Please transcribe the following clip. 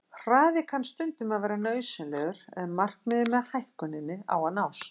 Hraði kann stundum að vera nauðsynlegur ef markmiðið með hækkuninni á að nást.